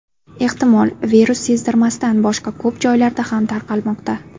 Ehtimol, virus sezdirmasdan boshqa ko‘p joylarda ham tarqalmoqda.